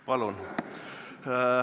Palun!